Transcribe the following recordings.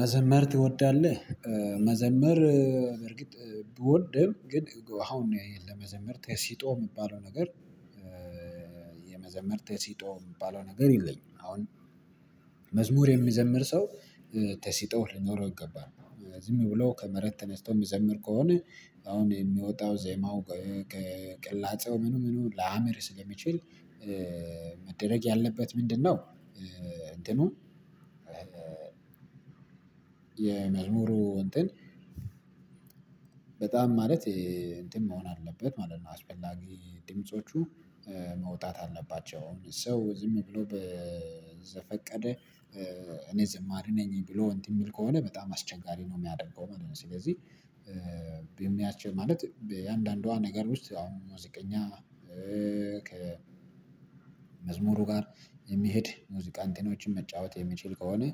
መዘመር ትወዳለህ? መዘመር በርግጥ ብወድም ግን አሁን ነው ያየህ ለመዘመር ተሲጦ የሚባለው ነገር የመዘመር ተሲጦ የሚባለው ነገር የለኝም። አሁን መዝሙር የሚዘምር ሰው ተሲጦ ሊኖረው ይገባል ዝም ብሎ ከመሬት ተነስቶ የሚዘምር ከሆነ አሁን የሚወጣው ዜማው ቅላጼው ምኑ ምኑ ላያምር ስለሚችል መደረግ ያለበት ምንድነው? እንትኑ የመዝሙሩ እንትን በጣም ማለት እንትን መሆን አለበት ማለት ነው። አስፈላጊ ድምጾቹ መውጣት አለባቸው ሰው ዝም ብሎ በዘፈቀደ እኔ ዝማሬ ነኝ ብሎ እንዲህ የሚል ከሆነ በጣም አስቸጋሪ ነው የሚያደርገው ማለት ነው። ስለዚህ በሚያችል ማለት በአንዳንዷ ነገር ውስጥ አሁን ሙዚቀኛ ከመዝሙሩ ጋር የሚሄድ ሙዚቃንቴኖችን መጫወት የሚችል ከሆነ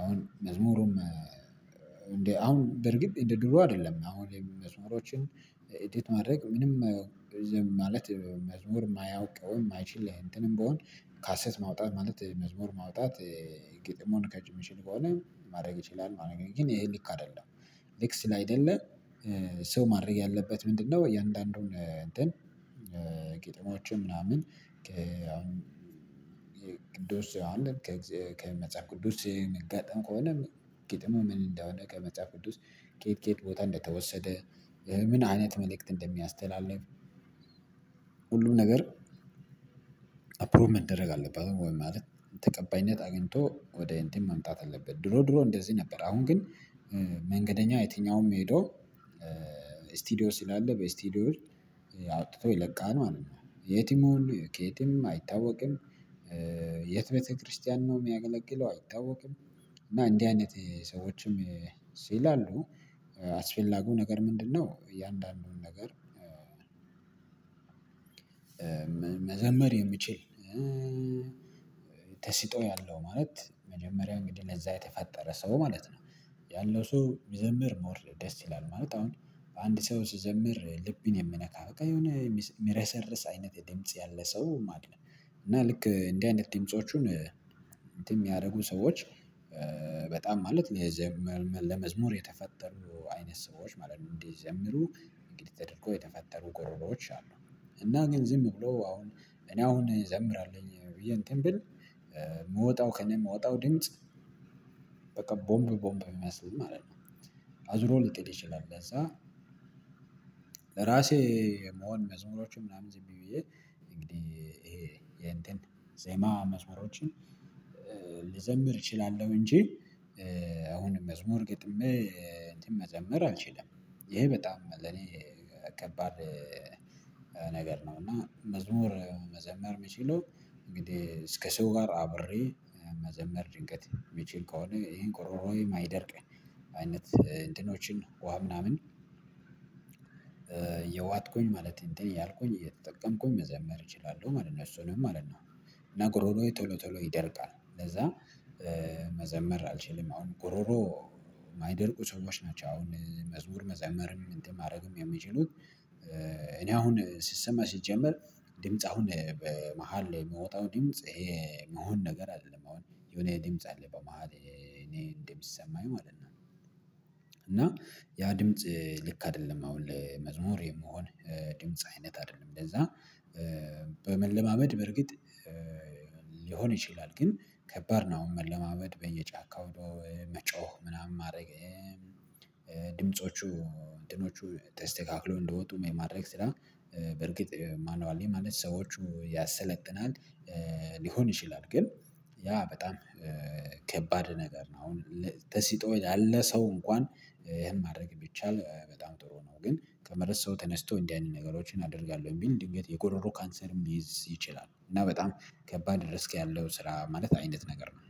አሁን መዝሙሩም እንዴ አሁን በርግጥ እንደ ድሮ አይደለም። አሁን የመዝሙሮችን ኢድት ማድረግ ምንም ማለት መዝሙር የማያውቀውም ማይችል እንትንም ብሆን ካሴት ማውጣት ማለት መዝሙር ማውጣት ግጥሙን የማይችል ከሆነ ማድረግ ይችላል ግን ይሄ ልክ አይደለም። ልክ ስላይደለ ሰው ማድረግ ያለበት ምንድነው? የእያንዳንዱን ግጥሞችን ምናምን ቅዱስ ዮሐንስ ከመጽሐፍ ቅዱስ የሚጋጠም ከሆነ ግጥሙ ምን እንደሆነ ከመጽሐፍ ቅዱስ ከየት ከየት ቦታ እንደተወሰደ ምን አይነት መልእክት እንደሚያስተላልፍ ሁሉም ነገር አፕሮቭ መደረግ አለባቸው። ወይ ማለት ተቀባይነት አግኝቶ ወደ እንትን መምጣት አለበት። ድሮ ድሮ እንደዚህ ነበር አሁን ግን መንገደኛ የትኛውም ሄዶ ስቲዲዮ ስላለ በስቲዲዮ አውጥቶ ይለቃል ማለት ነው። የትም ይሁኑ ከየትም ይሁን አይታወቅም። የት ቤተክርስቲያን ነው የሚያገለግለው አይታወቅም። እና እንዲህ አይነት ሰዎችም ሲል አሉ አስፈላጊው ነገር ምንድነው? እያንዳንዱን ነገር መዘመር የምችል ተስጦ ያለው ማለት መጀመሪያ እንግዲህ ለዛ የተፈጠረ ሰው ማለት ነው። ያለው ሰው ዘምር ሞር ደስ ይላል ማለት አሁን በአንድ ሰው ስዘምር ልብን የምነካ በቃ የሆነ የሚረሰርስ አይነት ድምጽ ያለ ሰው ማለት ነው። እና ልክ እንደዚህ አይነት ድምፆችን እንትን የሚያደርጉ ሰዎች በጣም ማለት ለመዝሙር የተፈጠሩ አይነት ሰዎች ማለት ነው። እንዲዘምሩ እንግዲህ ተደርጎ የተፈጠሩ ጎረሮዎች አሉ እና ግን ዝም ብሎ አሁን እኔ አሁን ይዘምራለሁኝ ብዬ እንትን ብል የምወጣው ከእኔ የምወጣው ድምጽ በቃ ቦምብ ቦምብ ሚመስል ማለት ነው። አዙሮ ልትሄድ ይችላል ለዛ ለራሴ መሆን መዝሙሮችን ምናምን ዝም ብዬ እንግዲህ ይሄ ዜማ መስመሮችን ልዘምር እችላለሁ። እንጂ አሁንም መስመር ገጥሜ እንትን መዘምር አልችልም። ይሄ በጣም ለኔ ከባድ ነገር ነው። እና መዝሙር መዘመር የምችለው እንግዲህ እስከ ሰው ጋር አብሬ መዘመር ድንገት የምችል ከሆነ ይሄን ቆሮሮዬ ማይደርቅ አይነት እንትኖችን ውሃ ምናምን የዋጥኩኝ ማለት እንትን ያልኩኝ እየተጠቀምኩኝ መዘመር እችላለሁ ማለት ነው እሱ ነው ማለት ነው። እና ግሮሮየ ቶሎ ቶሎ ይደርቃል ለዛ መዘመር አልችልም። አሁን ጎሮሮ የማይደርቁ ሰዎች ናቸው አሁን መዝሙር መዘመርም እንትን ማድረግም የሚችሉት። እኔ አሁን ሲሰማ ሲጀመር ድምጽ አሁን በመሃል የምወጣው ድምጽ ይሄ መሆን ነገር አይደለም አሁን የሆነ ድምጽ አለ በመሃል እኔ እንደሚሰማኝ ማለት ነው። እና ያ ድምጽ ልክ አይደለም አሁን ለመዝሙር የመሆን ድምጽ አይነት አይደለም እንደዛ። በመለማመድ በርግጥ ሊሆን ይችላል ግን ከባድ ነው። አሁን መለማመድ በየጫካው መጮህ ምናምን ማድረግ ድምፆቹ እንትኖቹ ተስተካክሎ እንደወጡ የማድረግ ስራ በርግጥ ማኑዋሊ ማለት ሰዎቹ ያሰለጥናል። ሊሆን ይችላል ግን ያ በጣም ከባድ ነገር ነው። አሁን ተሲጦ ላለ ሰው እንኳን ይሄን ማድረግ ቢቻል በጣም ጥሩ ነው። ግን ከመረት ሰው ተነስቶ እንዲህ አይነት ነገሮችን አደርጋለሁ የሚል እንዲህ የጎሮሮ ካንሰርም ሊይዝ ይችላል። እና በጣም ከባድ ሪስክ ያለው ስራ ማለት አይነት ነገር ነው